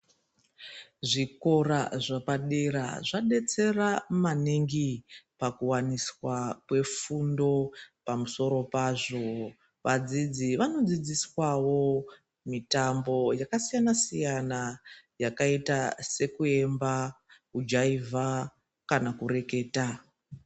Zvikora zvepadera zvabetsera maningi pakuvaniswa kwefundo pamusoro pazvo. Vadzidzi vanodzidziswavo mitambo yakasiyana-siyana yakaita sekuemba kujaivha kana kureketa.